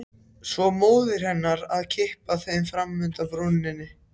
Svo móðir hennar að kippa þeim fram úr undan bununni.